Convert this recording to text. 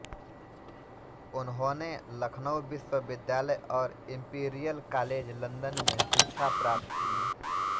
उन्होंने लखनऊ विश्वविद्यालय और इंपीरियल कॉलेज लंदन में शिक्षा प्राप्त की